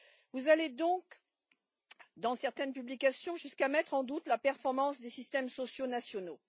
Vous allez donc, dans certaines publications, jusqu'à mettre en doute la performance des systèmes sociaux nationaux.